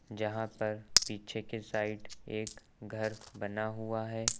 जहां पर पीछे के साइड एक घर बना हुआ है।